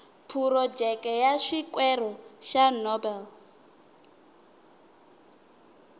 phurojeke ya xikwere xa nobel